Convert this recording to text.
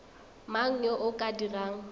mang yo o ka dirang